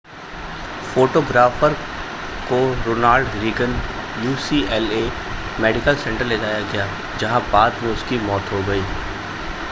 photographer को Ronald Reagan UCLA medical centre ले जाया गया जहां बाद में उसकी मौत हो गई